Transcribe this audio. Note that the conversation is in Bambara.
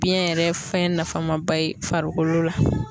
Biyɛn yɛrɛ ye fɛn nafaman ba ye farikolo la.